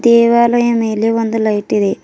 ದೇವಾಲಯ ಮೇಲೆ ಒಂದು ಲೈಟ್ ಇದೆ.